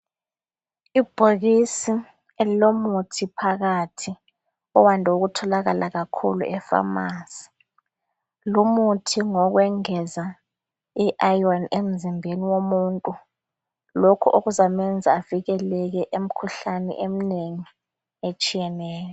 Ibhokisi elilomuthi phakathi owande ukutholakala kakhulu efamasi lo muthi ngowokwengeza iayoni emzibeni womuntu lokhu okuzamenza evikeleke emikhuhlane eminengi etshiyeneyo.